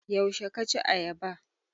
Yaushe ka ci ayaba?